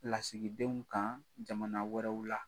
Lasigidenw kan jamana wɛrɛw la.